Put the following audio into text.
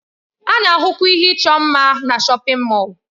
A na-ahụkwa ihe ịchọ mma na shọpin Mọll.